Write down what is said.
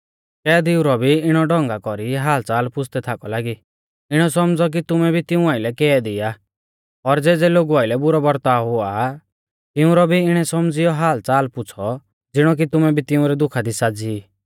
कैदीऊ रौ भी इणै ढौंगा कौरी हालच़ाल पुछ़दै थाकौ लागी इणौ सौमझ़ौ कि तुमै भी तिऊं आइलै कैदी आ और ज़ेज़ै लोगु आइलै बुरौ बरताव हुआ आ तिउंरौ भी इणै सौमझ़ियौ हालच़ाल पुछ़ौ ज़िणौ कि तुमै भी तिंउरै दुखा दी साज़ी ई